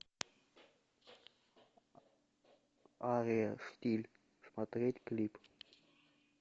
ария штиль смотреть клип